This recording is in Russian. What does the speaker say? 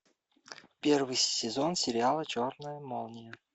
первый сезон сериала черная молния